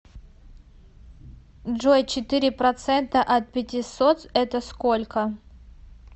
джой четыре процента от пятисот это сколько